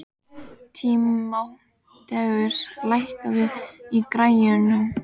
Tímoteus, lækkaðu í græjunum.